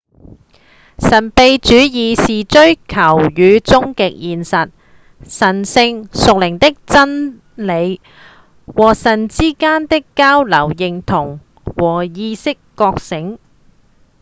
神祕主義是追求與終極現實、神性、屬靈的真理、或神之間的交流、認同、或意識覺醒